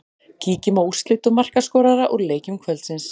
Kíkjum á úrslit og markaskorara úr leikjum kvöldsins.